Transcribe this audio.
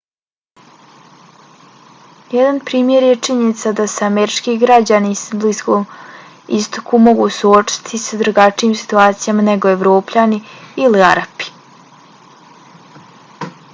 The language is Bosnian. jedan primjer je činjenica da se američki građani na bliskom istoku mogu suočiti s drugačijim situacijama nego evropljani ili arapi